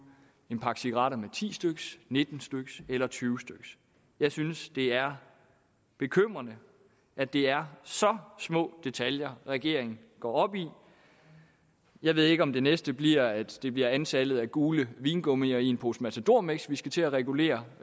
en pakke cigaretter med ti styk nitten styk eller tyve styk jeg synes at det er bekymrende at det er så små detaljer regeringen går op i jeg ved ikke om det næste bliver at det bliver antallet af gule vingummier i en pose matadormix vi skal til at regulere